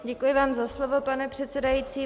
Děkuji vám za slovo, pane předsedající.